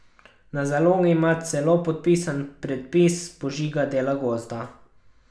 Na zalogi ima celo podpisan predpis požiga dela gozda.